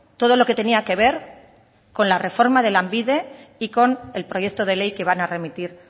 todo lo que tenía que ver con la reforma de lanbide y con el proyecto de ley que van a remitir